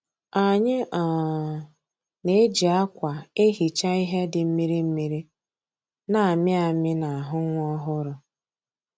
Anyị um na-eji akwa ehicha ihe dị mmiri mmiri na-amịamị n'ahụ nwa ọhụrụ